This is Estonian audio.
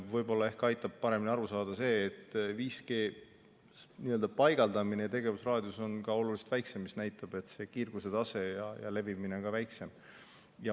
Võib-olla ehk aitab paremini aru saada see, et 5G paigaldamisel ja on selle tegevusraadius oluliselt väiksem, mis näitab, et kiirguse tase ja levimine on väiksem.